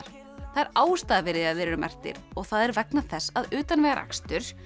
það er ástæða fyrir því að þeir eru merktir og það er vegna þess að utanvegaakstur